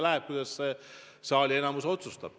Oleneb, kuidas enamik selles saalis otsustab.